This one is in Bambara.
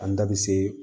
An da be se